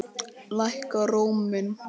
Lækkar róminn.